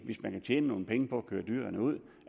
hvis man kan tjene nogle penge på at køre dyrene ud